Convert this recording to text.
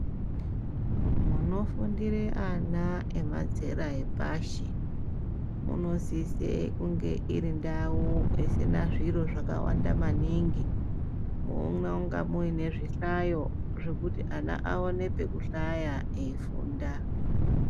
Munofundire ana emazera epashi munosise kunge iri ndau isina zviro zvakawanda maningi, munonga muine zvihlayo zvekuti ana aone pekuhlaya eifunda.